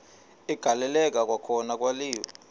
agaleleka kwakhona kwaliwa